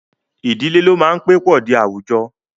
Idile lo maa n pe po di awujọ.